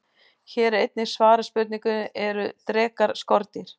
Hér er einnig svarað spurningunni: Eru drekar skordýr?